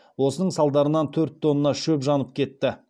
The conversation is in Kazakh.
осының салдарынан төрт тонна шөп жанып кетті